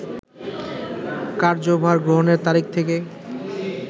কার্যভার গ্রহণের তারিখ থেকে